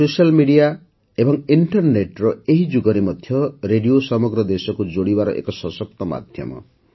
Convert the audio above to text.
social media ଓ ଇଣ୍ଟରନେଟ୍ର ଏହି ଯୁଗରେ ମଧ୍ୟ ରେଡିଓ ସମଗ୍ର ଦେଶକୁ ଯୋଡ଼ିବାର ଏକ ସଶକ୍ତ ମାଧ୍ୟମ